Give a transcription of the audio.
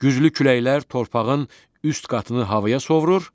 Güclü küləklər torpağın üst qatını havaya sovurur,